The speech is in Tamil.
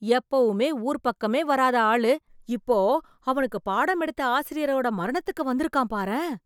எப்பவுமே ஊர் பக்கமே வராத ஆளு. இப்போ அவனுக்கு பாடம் எடுத்த ஆசிரியரோட மரணத்திற்கு வந்திருக்கான் பாரேன் !